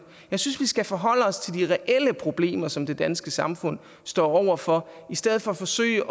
jeg synes vi skal forholde os til de reelle problemer som det danske samfund står over for i stedet for at forsøge